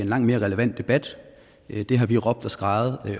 langt mere relevant debat det har vi råbt og skreget